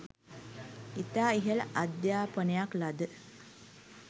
ඉතා ඉහළ අධ්‍යාපනයක් ලද